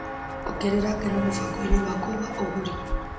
Ongerera ngano mũbango-inĩ wakwa wa ũgũri.